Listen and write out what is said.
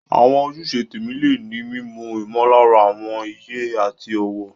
Àwọn ojúṣe tẹ̀mí lè ní mímú ìmọ̀lára àwọn iye àti ọ̀wọ̀.